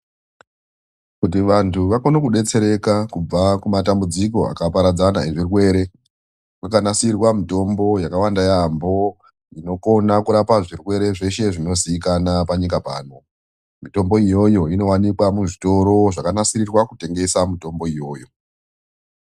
Kuti vantu vakone kudetsereka kubva kumatambudziko akaparadzana ezvirwere, kwakanasirwa mitombo yakawanda yaambo inokona kurapa zvirwere zveshe zvinoziikanwa panyika pano. Mitombo iyoyo inowanikwa muzvitoro zvakanasirwa kutengesa mitombo iyoyo.